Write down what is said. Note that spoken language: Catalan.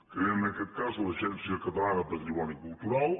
creen en aquest cas l’agència catalana de patrimoni cultural